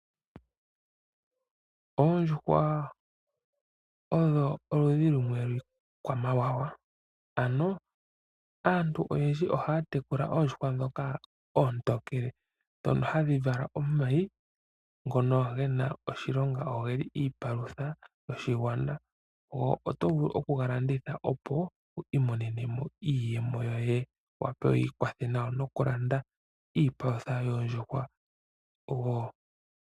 Oondjuhwa odho oludhi lumwe lwiikwamawawa ano aantu oyendji ohaya tekula oondjuhwa ontokele dhono hadhi vala omayi ngono ge na oshilonga nogeli iipalutha yoshigwana. Omuntu oto vulu okuga landitha opo wiimonene mo iiyemo yoye wu wape wiikwathe nayo noku landa iipalutha yoondjuhwa woo.